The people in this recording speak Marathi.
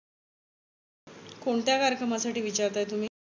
कोणत्या कार्यक्रमासाठी विचारताय तुम्ही?